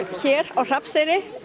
hér á Hrafnseyri